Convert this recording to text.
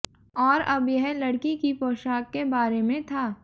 और अब यह लड़की की पोशाक के बारे में था